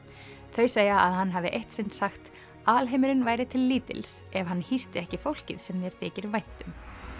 þau segja að hann hafi eitt sinn sagt alheimurinn væri til lítils ef hann hýsti ekki fólkið sem þér þykir vænt um